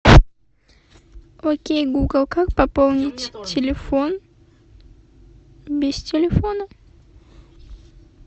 окей гугл как пополнить телефон без телефона